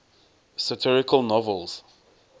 satirical novels